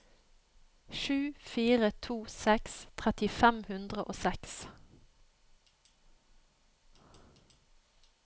sju fire to seks tretti fem hundre og seks